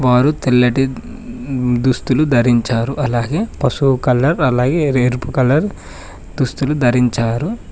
వారు తెల్లటి హ్మ్మ్ దుస్తులు ధరించారు అలాగే పసుపు కలర్ అలాగే ఎరుపు కలర్ దుస్తులు ధరించారు.